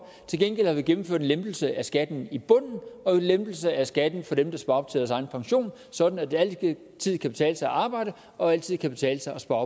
til gengæld har vi gennemført en lempelse af skatten i bunden og en lempelse af skatten for dem der sparer op til deres egen pension sådan at det altid kan betale sig at arbejde og altid kan betale sig at spare